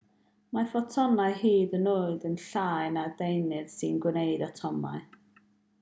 mae ffotonau hyd yn oed yn llai na'r deunydd sy'n gwneud atomau